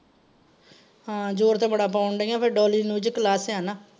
ਹਾਂ ਜ਼ੋਰ ਤੇ ਬੜਾ ਪੌਣ ਡੀਆਂ ਪਰ ਡੌਲੀ . class ਆ ਨਾ।